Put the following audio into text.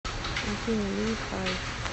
афина ли хай